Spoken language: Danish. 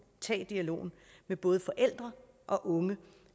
at tage dialogen med både forældre og unge